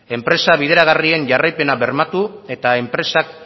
enpresa bideragarrien jarraipena bermatu eta enpresak